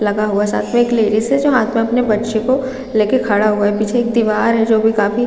--लगा हुआ है साथ में एक लेडीज है जो हाथ में अपने बच्चे को लेके खड़ा हुआ है पीछे एक दिवार है जो भी काफी--